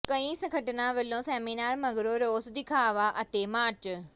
ਕਈ ਸੰਗਠਨਾਂ ਵੱਲੋਂ ਸੈਮੀਨਾਰ ਮਗਰੋਂ ਰੋਸ ਵਿਖਾਵਾ ਅਤੇ ਮਾਰਚ